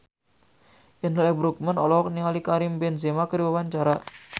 Indra L. Bruggman olohok ningali Karim Benzema keur diwawancara